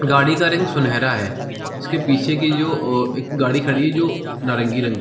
गाड़ी का रंग सुनैहरा है इसके पीछे के जो उह एक गाड़ी खड़ी है जो नारंगी रंग --